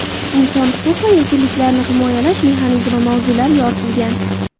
Inson huquq va erkinliklarini himoyalash mexanizmi” mavzular yoritilgan.